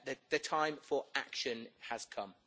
The time for action has come.